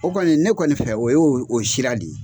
O kɔni ne kɔni fɛ o ye o sira le ye.